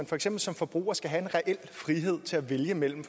for eksempel som forbrugere skal have en reel frihed til at vælge mellem